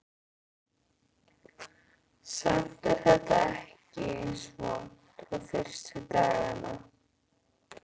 Samt er þetta ekki eins vont og fyrstu dagana.